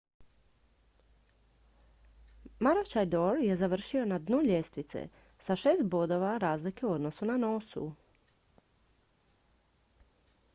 maroochydore je završio na dnu ljestvice sa šest bodova razlike u odnosu na noosu